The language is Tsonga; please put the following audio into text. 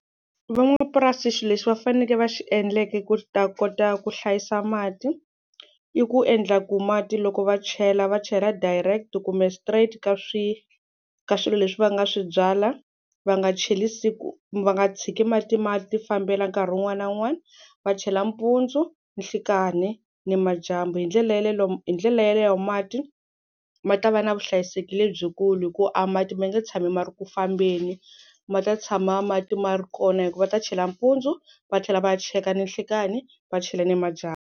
Van'wamapurasi xilo lexi va fanekele va xi endleke ku ta kota ku hlayisa mati i ku endla ku mati loko va chela va chela direct kumbe straight ka swi ka swilo leswi va nga swi byala va nga cheli siku va nga tshiki mati ma ti fambela nkarhi wun'wani na wun'wani va chela mpundzu, nhlikani, ni madyambu hi ndlela yaleyo lomu hi ndlela yaleyo mati ma ta va na vuhlayiseki lebyikulu hi ku a mati ma nge tshami ma ri ku fambeni ma ta tshama mati ma ri kona hi ku va ta chela mpundzu va tlhela va ya cheka ninhlikani va chela ni madyambu